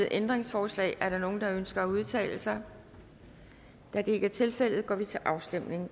ændringsforslag er der nogen der ønsker at udtale sig da det ikke er tilfældet går vi til afstemning